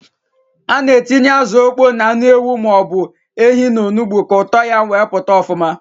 A na-etinye azụ ọkpọ na anụ ewu ma ọ bụ ehi n'onugbu ka ụtọ ya wee pụta ọfụma.